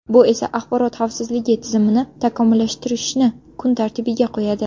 Bu esa axborot xavfsizligi tizimini takomillashtirishni kun tartibiga qo‘yadi.